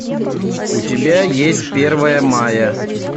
у тебя есть первое мая